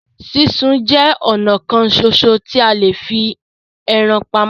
Súnsun jẹ ọnà kan ṣoṣo tí a lè fi ẹran pamọ́.